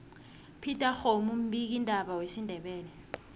upetex kgomu mbiki ndaba wesindebele